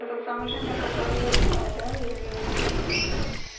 тот самый женя которой я думаю да или нет